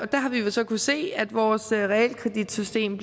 der har vi jo så kunnet se at vores realkreditsystem